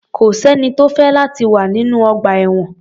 Kò sẹ́ni tó fẹ́ láti wà nínú ọgbà-ẹ̀wọ̀n.